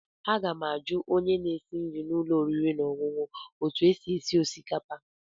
Aga m ajụ onye na-esi nri n'ụlọ oriri na ọṅụṅụ a etu o sie osikapa a.